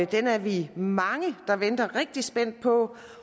den er vi mange der venter rigtig spændt på